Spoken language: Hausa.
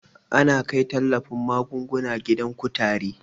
Ana kai tallafin magunguna gidan kutare